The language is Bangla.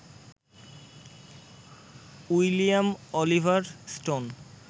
William Oliver stone